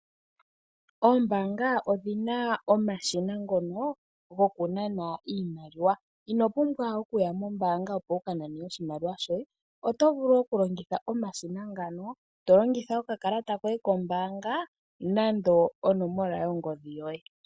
Oombaanga odhi na omashina ngono gokunana iimaliwa , ino pumbwa okuya mombaanga opo wu ka nane oshimaliwa shoye, oto vulu okulongitha omashina ngano to longitha okakalata koye kombaanga nenge onomola yongodhi yoye.